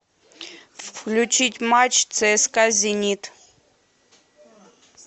включить матч цска зенит